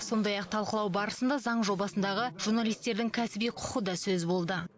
сондай ақ талқылау барысында заң жобасындағы журналистердің кәсіби құқы да сөз болды